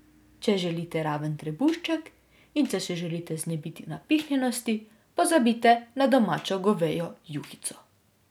Če želite raven trebušček in če se želite znebiti napihnjenosti, pozabite na domačo govejo juhico.